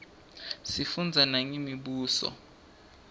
sifundza nangemibuso